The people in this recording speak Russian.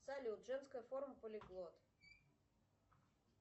салют женская форма полиглот